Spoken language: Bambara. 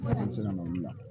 Kalanso la olu la